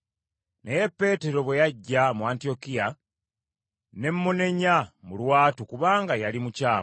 Naye Peetero ate era nga ye Keefa, bwe yajja mu Antiyokiya ne mmunenya mu lwatu kubanga yali mukyamu.